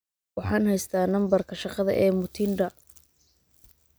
waxaan haystaa nambarka shaqada ee mutinda